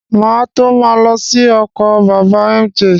Má à tó ma lọ sí oko bàbá mj